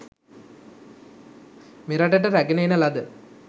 මෙරටට රැගෙන එන ලද